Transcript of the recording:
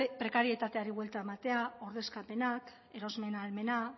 prekarietateari buelta ematea ordezkapenak erosmen ahalmena